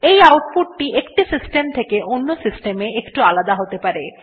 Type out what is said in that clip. এই আউটপুট একটি সিস্টেম থেকে অন্য সিস্টেম এ একটু আলাদা হতে পারে